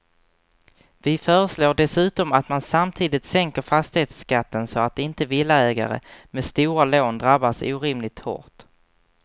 Vi föreslår dessutom att man samtidigt sänker fastighetsskatten så att inte villaägare med stora lån drabbas orimligt hårt.